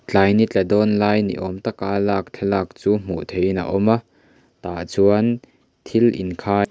tlai ni tla dawn lai ni awm tak a lak thlalak chu hmuh theihin a awm a tah chuan thil inkhai--